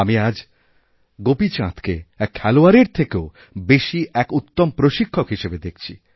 আমি আজ গোপীচাঁদকে এক খেলোয়াড়এর থেকেও বেশি এক উত্তমপ্রশিক্ষক হিসাবে দেখছি